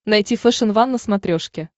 найти фэшен ван на смотрешке